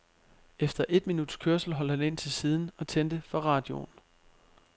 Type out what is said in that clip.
Efter et minuts kørsel holdt han ind til siden og tændte for radioen.